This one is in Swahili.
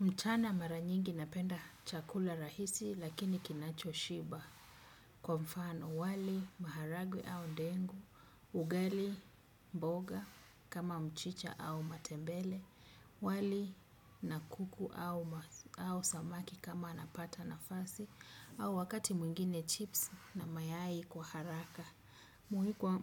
Mchana maranyingi napenda chakula rahisi lakini kinacho shiba. Kwa mfano wali maharagwe au ndengu, ugali mboga kama mchicha au matembele, wali nakuku au samaki kama napata nafasi, au wakati mwingine chips na mayai kwa haraka.